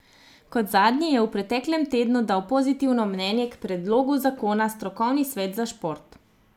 Kot zadnji je v preteklem tednu dal pozitivno mnenje k predlogu zakona strokovni svet za šport.